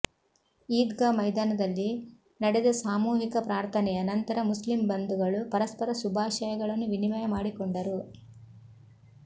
ಈದ್ಗಾ ಮೈದಾನದಲ್ಲಿ ನಡೆದ ಸಾಮೂಹಿಕ ಪ್ರಾರ್ಥನೆಯ ನಂತರ ಮುಸ್ಲಿಂ ಬಂದುಗಳು ಪರಸ್ಪರ ಶುಭಾಶಯಗಳನ್ನು ವಿನಿಮಯ ಮಾಡಿಕೊಂಡರು